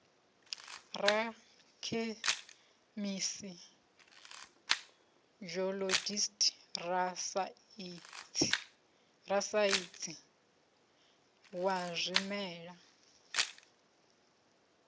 rakhemisi geologist rasaintsi wa zwimela